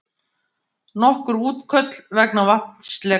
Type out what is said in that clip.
Nokkur útköll vegna vatnsleka